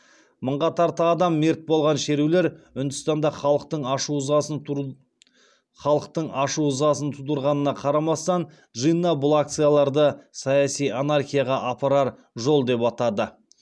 мыңға тарта адам мерт болған шерулер үндістанда халықтың ашу ызасын тудырғанына қарамастан джинна бұл акцияларды саяси анархияға апарар жол деп атады